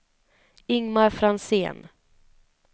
Ingmar Franzén